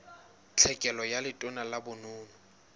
tlhekelo ka letona la bonono